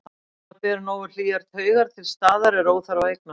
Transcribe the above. Ef maður ber nógu hlýjar taugar til staðar er óþarfi að eignast hann.